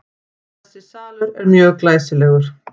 Þessi salur er mjög glæsilegur.